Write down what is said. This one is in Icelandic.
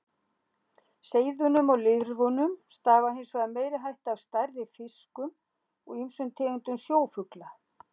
Seiðunum og lirfunum stafar hins vegar meiri hætta af stærri fiskum og ýmsum tegundum sjófugla.